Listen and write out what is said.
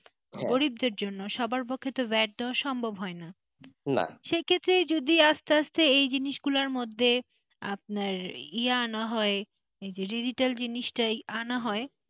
গরিবদের জন্য সবার পক্ষে vat দেওয়া সম্ভব হয় না সে ক্ষেত্রে যদি আস্তে আস্তেই এই জিনিসগুলোর মধ্যে আপনার ইয়া না হয় যে digital জিনিস টাই আনা হয়,